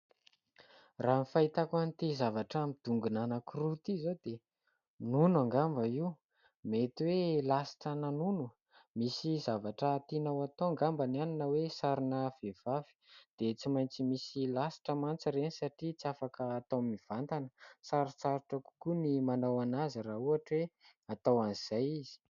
Raha ny fahitako an'ity zavatra midongona anankiroa ity izao dia nono angamba io. Mety hoe lasitrana nono. Misy zavatra tiana ho atao angamba any na hoe sarina vehivavy dia tsy maintsy misy lasitra mantsy ireny satria tsy afaka hatao mivantana. Sarotsarotra kokoa ny manao an'azy raha ohatra hoe atao an'izay izy.